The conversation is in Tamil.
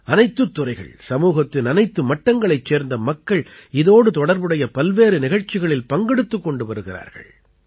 அனைத்துத் துறைகள் சமூகத்தின் அனைத்து மட்டங்களைச் சேர்ந்த மக்கள் இதோடு தொடர்புடைய பல்வேறு நிகழ்ச்சிகளில் பங்கெடுத்துக் கொண்டு வருகிறார்கள்